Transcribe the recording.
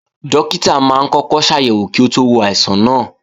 Dókítà máa ń kọ́kọ́ ṣàyẹ̀wò kí ó tó wo àìsàn náà